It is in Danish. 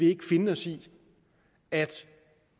ikke finde os i at